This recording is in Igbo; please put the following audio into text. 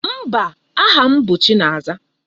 Mba, aha m bụ Chinaza.